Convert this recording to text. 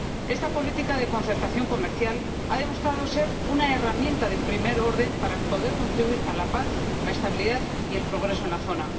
Esta política de concertación comercial ha demostrado ser una herramienta de primer orden para poder contribuir a la paz, la estabilidad y el progreso en la zona.